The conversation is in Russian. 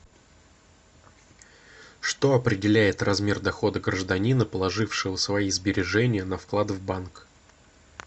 что определяет размер дохода гражданина положившего свои сбережения на вклад в банк